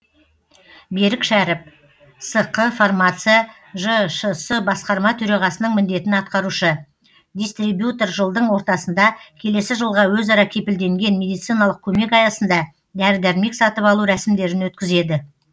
берік шәріп сқ фармация жшс басқарма төрағасының міндетін атқарушы дистрибьютор жылдың ортасында келесі жылға өзара кепілденген медициналық көмек аясында дәрі дәрмек сатып алу рәсімдерін өткізеді